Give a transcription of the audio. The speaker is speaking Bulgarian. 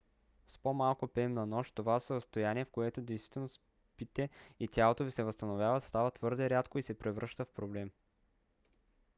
с по-малко рем на нощ това състояние в което действително спите и тялото ви се възстановява става твърде рядко и се превръща в проблем